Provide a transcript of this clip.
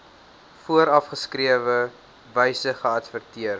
voorgeskrewe wyse geadverteer